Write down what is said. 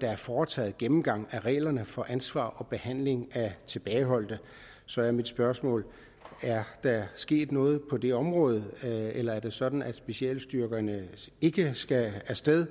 der er foretaget en gennemgang af reglerne for ansvar og behandling af tilbageholdte så er mit spørgsmål er der sket noget på det område eller er det sådan at specialstyrkerne ikke skal af sted